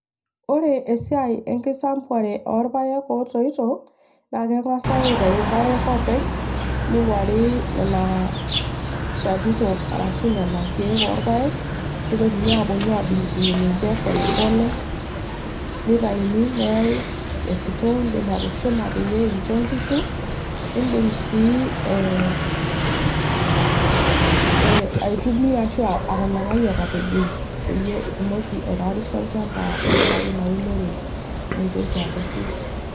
Ore esiai enkisampuare orpaek otoito na kengasai aitau irpaek openy neinguari nona shanito arashu nona kiek orpaek neitoki aponu adungdung nche polepole neitauni neyae esitoo, indim atushuma neyae aisho nkishu, nindim sii ee ee aitumia atumia arashu atapejoi peyie itumoki aitayarisha olchamba tenkaraki inaunore naitoki alotu.